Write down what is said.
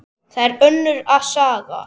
Það er önnur saga.